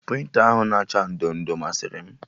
Prịnta ahụ na acha ndo ndo masịrị m